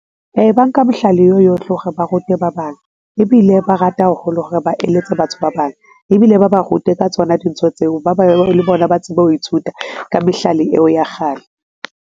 Ee, ba nka mohlala eo yohle ho re ba rute ba bang ebile ba rata haholo hore ba eletse batho ba bang ebile ba ba rute ka tsona dintho tseo, le bona ba tsebe ho ithuta ka mehlale eo ya kgale.